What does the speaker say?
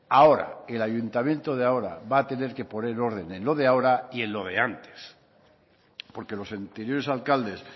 ahora que el ayuntamiento de ahora va a tener que poner orden en lo de ahora y en lo de antes porque los anteriores alcaldes